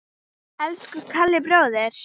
Elsku Kalli bróðir.